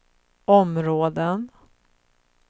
områden